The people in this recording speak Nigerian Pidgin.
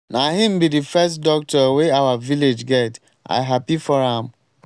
na him be the first doctor wey our village get. i happy for am.